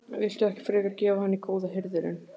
Viltu ekki frekar gefa hann í Góða hirðinn?